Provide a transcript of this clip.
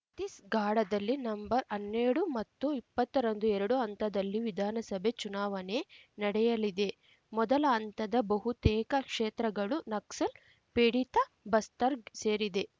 ಛತ್ತೀಸ್‌ಗಾಢದಲ್ಲಿ ನಂಬರ್ಹನ್ನೆರಡು ಮತ್ತು ಇಪ್ಪತ್ತರಂದು ಎರಡು ಹಂತದಲ್ಲಿ ವಿಧಾನಸಭೆ ಚುಣಾವಣೆ ನಡೆಯಲಿದೆ ಮೊದಲ ಹಂತದ ಬಹುತೇಕ ಕ್ಷೇತ್ರಗಳು ನಕ್ಸಲ್‌ ಪೀಡಿತ ಬಸ್ತರ್‌ಗೆ ಸೇರಿದೆ